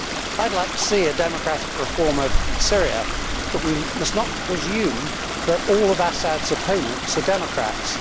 I would like to see a democratic reform of Syria, but we must not presume that all of al Assad's opponents are democrats.